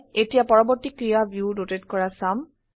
এতিয়া পৰবৰ্তী ক্ৰিয়া ভিউ ৰোটেট কৰা চাম